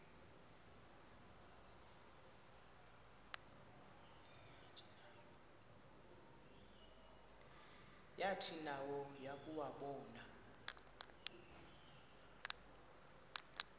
yathi nayo yakuwabona